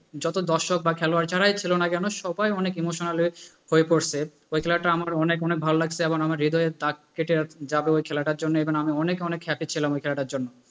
যত দর্শক বা খেলোয়াড় যারাই ছিল না কেন সবাই অনেক emotional হয়ে, হয়ে পড়ছে, ওই খেলাটায় আমার অনেক অনেক ভালো লাগছে এবং হৃদয়ে দাগ কেটে যাবে ওই খেলাটার জন্যে, এবং আমি অনেক অনেক খ্যাতি ছিলাম ঐ খেলাটার জন্য।